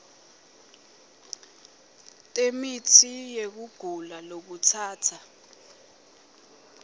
temitsi yekugula lokutsatsa